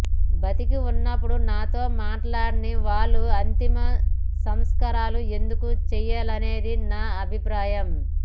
బతికి ఉన్నప్పుడు నాతో మాట్లాడని వాళ్లు అంతిమ సంస్కారాలు ఎందుకు చేయాలనేది నా అభిప్రాయం